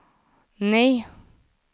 nej